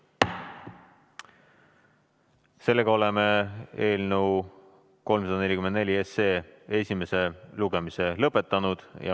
Sellega oleme eelnõu 344 esimese lugemise lõpetanud.